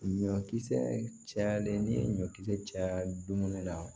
Ɲɔkisɛ cayalen n'i ye ɲɔ kisɛ caya dumuni na